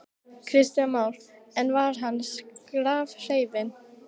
Kristján Már: En var hann skrafhreifinn?